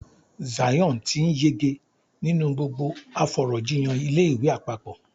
Zion ti n yege ninu gbogbo afọ̀rọ̀jíyàn ilé ìwé àpapọ̀.